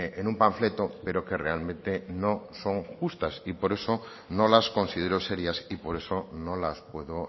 en un panfleto pero que realmente no son justas y por eso no las considero serias y por eso no las puedo